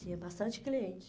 Tinha bastante clientes.